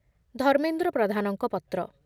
ଧର୍ମେନ୍ଦ୍ର ପ୍ରଧାନଙ୍କ ପତ୍ର